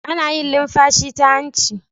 Ana yin linfashi ta hanci